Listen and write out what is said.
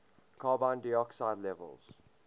carbon dioxide levels